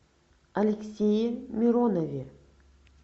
алексее миронове